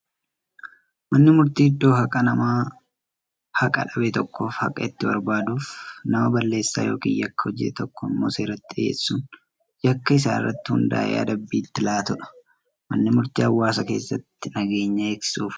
Manni murtii iddoo haqaa nama haqa dhabe tokkoof haqa itti barbaaduufi nama balleessaa yookiin Yakka hojjate tokko immoo seeratti dhiyeessuun, yakka isaa irratti hundaa'ee adabbii itti laatuudha. Manni murtii hawaasa keessatti nageenya eegsisuuf oola.